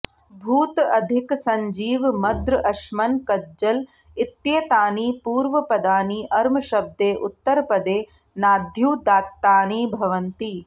भूत अधिक सञ्जीव मद्र अश्मन् कज्जल इत्येतानि पूर्वपदानि अर्मशब्दे उत्तरपदे नाद्युदात्तानि भवन्ति